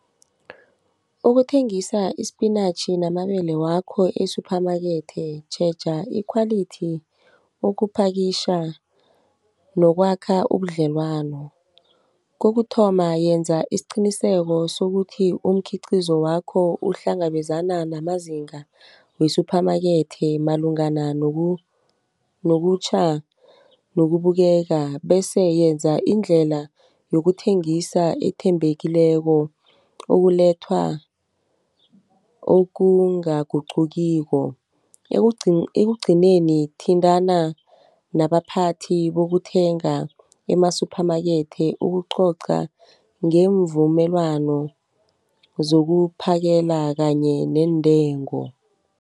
Ukuthengisa isipinatjhi namabele wakho e-Supermarket, tjheja ikhwalithi, ukupakitjha nokwakha ubudlelwano. Kokuthoma yenza isiqiniseko sokuthi umkhiqizo wakho uhlangabezana namazinga we-Supermarket malungana nokutjha, nokubukeka. Bese yenza indlela yokuthengisa ethembekileko okulethwa okunganguqukiko. Ekugcineni thintana nabaphathi bokuthenga ema-Supermarket ukucoca ngemvumelwano zokuphakela kanye neentengo.